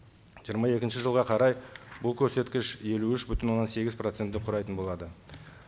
жиырма екінші жылға қарай бұл көрсеткіш елу үш бүтін оннан сегіз процентті құрайтын болады